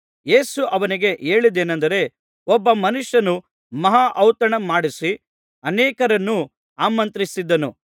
ಯೇಸು ಅವನಿಗೆ ಹೇಳಿದ್ದೇನಂದರೆ ಒಬ್ಬ ಮನುಷ್ಯನು ಮಹಾ ಔತಣ ಮಾಡಿಸಿ ಅನೇಕರನ್ನು ಆಮಂತ್ರಿಸಿದನು